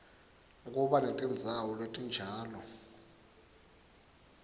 kuba netindzawo letinjalo